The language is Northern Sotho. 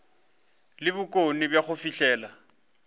le bokgoni bja go fihlelela